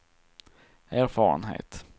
erfarenhet